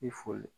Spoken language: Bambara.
I foli